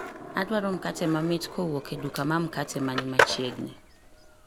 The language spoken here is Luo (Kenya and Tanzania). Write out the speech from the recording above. Adwaro mkate mamit kowuok e duka ma mkate ma ni machiegni